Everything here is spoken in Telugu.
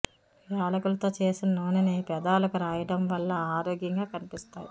యాలకులతో చేసిన నూనెని పెదాలకు రాయడం వల్ల ఆరోగ్యంగా కనిపిస్తాయి